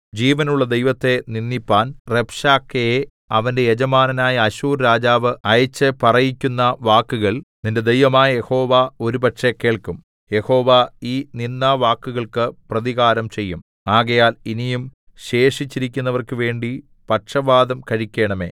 ജീവനുള്ള ദൈവത്തെ നിന്ദിപ്പാൻ റബ്ശാക്കേയെ അവന്റെ യജമാനനായ അശ്ശൂർ രാജാവ് അയച്ച് പറയിക്കുന്ന വാക്കുകൾ നിന്റെ ദൈവമായ യഹോവ ഒരുപക്ഷെ കേൾക്കും യഹോവ ഈ നിന്ദാവാക്കുകൾക്ക് പ്രതികാരംചെയ്യും ആകയാൽ ഇനിയും ശേഷിച്ചിരിക്കുന്നവർക്കു വേണ്ടി പക്ഷവാദം കഴിക്കേണമേ